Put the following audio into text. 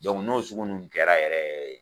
n'o sugu ninnu kɛra yɛrɛ yɛrɛ